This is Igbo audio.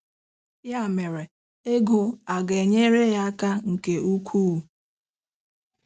Ya mere, ego a gaara enyere ha aka nke ukwuu.